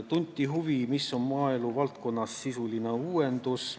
Tunti huvi, mis on maaeluvaldkonnas sisuline uuendus.